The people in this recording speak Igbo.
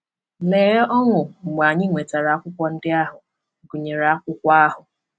Lee ọṅụ mgbe anyị nwetara akwụkwọ ndị ahụ, gụnyere akwụkwọ ahụ!